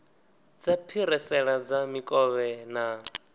dza phirisela dza mikovhe na